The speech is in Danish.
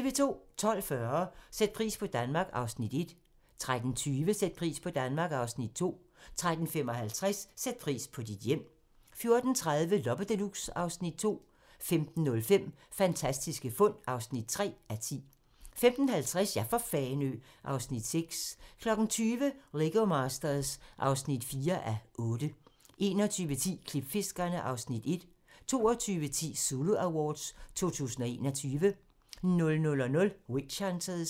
12:40: Sæt pris på Danmark (Afs. 1) 13:20: Sæt pris på Danmark (Afs. 2) 13:55: Sæt pris på dit hjem 14:30: Loppe Deluxe (Afs. 2) 15:05: Fantastiske fund (3:10) 15:50: Ja for Fanø! (Afs. 6) 20:00: Lego Masters (4:8) 21:10: Klipfiskerne (Afs. 1) 22:10: Zulu Awards 2021 00:00: Witch Hunters